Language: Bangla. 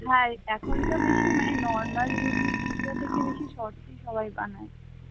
হ্যাঁ এখন তো দেখি normal ইউটিউব video থেকে বেশি shorts সবাই বানায় ।